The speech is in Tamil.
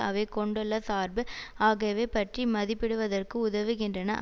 அவை கொண்டுள்ள சார்பு ஆகியவை பற்றி மதிப்பிடுவதற்கு உதவுகின்றன